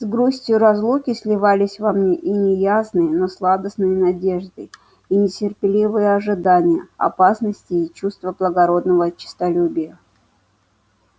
с грустию разлуки сливались во мне и неясные но сладостные надежды и нетерпеливое ожидание опасностей и чувства благородного честолюбия